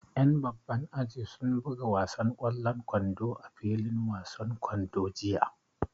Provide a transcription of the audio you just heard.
Ƴan babban aji sun buga wasan ƙwallon kwando a filin wasan kwando jiya